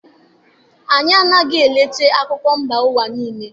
Anyi anaghị eleta akụkọ mba ụwa niile.